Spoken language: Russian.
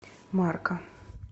марка